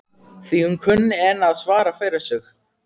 Því hún kunni enn að svara fyrir sig hún